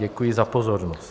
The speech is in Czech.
Děkuji za pozornost.